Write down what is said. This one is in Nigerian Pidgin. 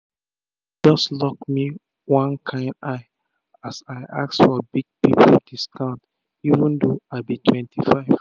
she just um luk me one kain eye as i ask for big big pipu discount even tho i be 25